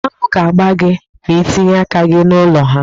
Aṅụ ga-agba gi ma itinye aka gị n'ụlọ ha.